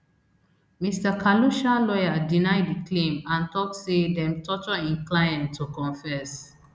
mr khalusha lawyer deny di claim and tok say dem torture im client to confess